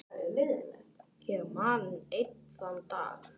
Ég man enn þann dag.